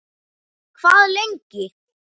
Hvað lengi